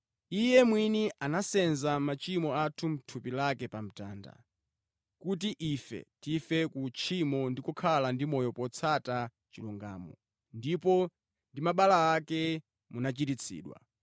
Iye mwini anasenza machimo athu mʼthupi lake pa mtanda, kuti ife tife kutchimo ndi kukhala ndi moyo potsata chilungamo, ndipo ndi mabala ake munachiritsidwa.